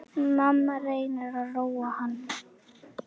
Mamma reynir að róa hann.